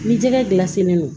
Ni jɛgɛ gilan selen don